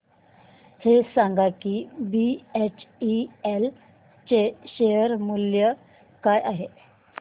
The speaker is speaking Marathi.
हे सांगा की बीएचईएल चे शेअर मूल्य काय आहे